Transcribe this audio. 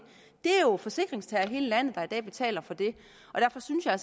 er jo forsikringstagere i hele landet der i dag betaler for det derfor synes jeg